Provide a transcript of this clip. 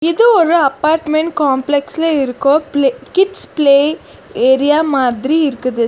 இது ஒரு apartment complex ல இருக்கோ ப்ளே கிட்ஸ் ப்ளே ஏரியா மாதிரி இருக்குது.